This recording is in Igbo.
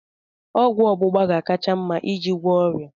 Ọgwụ ọgbụgba ga-akacha mma iji gwọọ ọrịa a